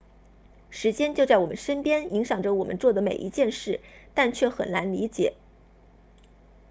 时间就在我们身边影响着我们做的每一件事但却很难理解